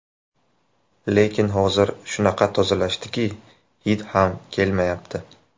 Lekin hozir shunaqa tozalashdiki, hid ham kelmayapti.